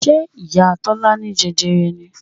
Ṣé ìyá Tọ́lá ní jẹjẹrẹ ni?